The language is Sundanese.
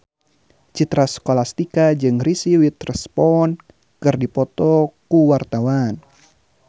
Citra Scholastika jeung Reese Witherspoon keur dipoto ku wartawan